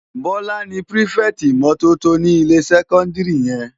Bola ni pirifèti imòtótó ni ilé sèkòndiri yèn